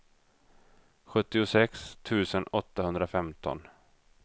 sjuttiosex tusen åttahundrafemton